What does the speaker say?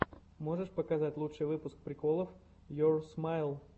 можешь показать лучший выпуск приколов йоур смайл